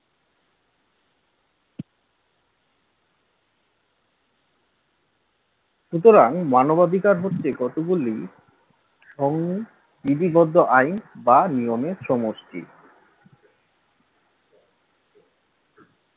সুতরাং মানবাধিকার হচ্ছে কতগুলি সম বিধিবদ্ধ আইন বা নিয়মের সমষ্টি